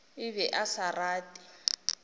a be a sa rate